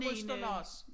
Østerlars